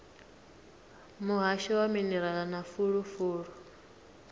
muhasho wa minerala na fulufulu